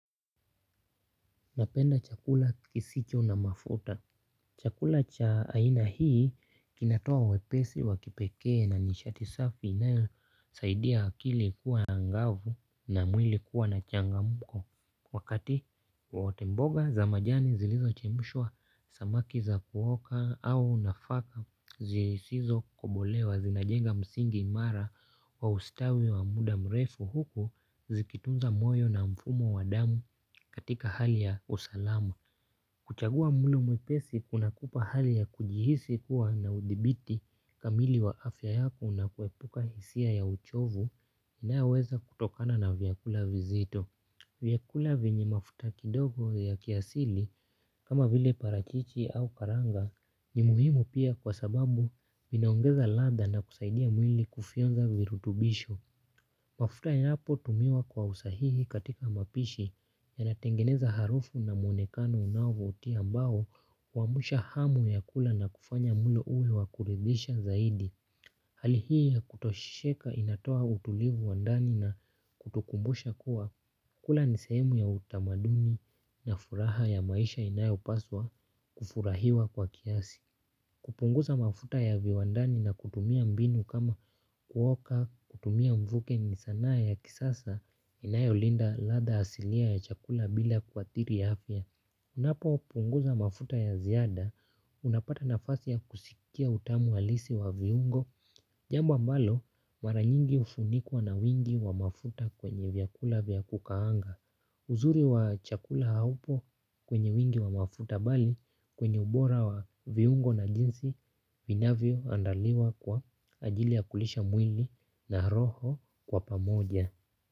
Napenda chakula kisicho na mafuta. Chakula cha aina hii kinatoa wepesi wa kipekee na nishati safi inayo saidia akili kuwa angavu na mwili kuwa na changamko. Wakati wowote mboga za majani zilizo chemshwa samaki za kuoka au nafaka zisizo kobolewa zinajenga msingi imara wa ustawi wa muda mrefu huku zikitunza moyo na mfumo wa damu katika hali ya usalama. Kuchagua mlo mwepesi kuna kupa hali ya kujihisi kuwa na udhibiti kamili wa afya yako na kuepuka hisia ya uchovu inayoweza kutokana na vyakula vizito. Vyakula venye mafuta kidogo ya kiasili kama vile parachichi au karanga ni muhimu pia kwa sababu vinaongeza ladha na kusaidia mwili kufionza virutubisho. Mafuta yapo tumiwa kwa usahihi katika mapishi yanatengeneza harufu na mwonekano unavutia ambao huamsha hamu ya kula na kufanya mwili uwe wakuridhisha zaidi. Hali hii kutosheka inatoa utulivu wa ndani na kutukumbusha kuwa kukula nisehemu ya utamaduni na furaha ya maisha inayo paswa kufurahiwa kwa kiasi. Kupunguza mafuta ya viwandani na kutumia mbinu kama kuoka kutumia mvuke ni sanaa ya kisasa inayo linda ladha asili ya chakula bila kuathiri afya. Unapo punguza mafuta ya ziada unapata nafasi ya kusikia utamu halisi wa viungo. Jambo ambalo maranyingi hufunikwa na wingi wa mafuta kwenye vyakula vya kukaanga. Uzuri wa chakula haupo kwenye wingi wa mafuta bali kwenye ubora wa viungo na jinsi vinavyo andaliwa kwa ajili ya kulisha mwili na roho kwa pamoja.